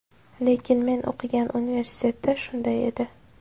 Lekin men o‘qigan universitetda shunday edi.